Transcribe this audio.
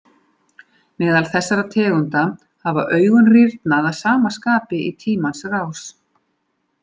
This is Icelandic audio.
Meðal þessara tegunda hafa augun rýrnað að sama skapi í tímans rás.